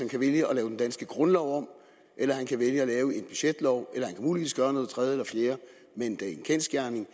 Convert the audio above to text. kan vælge at lave den danske grundlov om eller han kan vælge at lave en budgetlov eller han kan muligvis gøre noget tredje eller fjerde men det er en kendsgerning